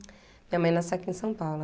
Minha mãe nasceu aqui em São Paulo.